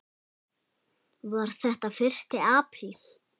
Var þetta fyrsti apríl?